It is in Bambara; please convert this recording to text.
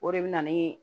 O de bɛ na ni